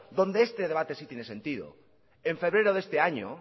donde este debate sí tiene sentido en febrero de este año